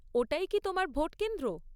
ওটাই কি তোমার ভোট কেন্দ্র?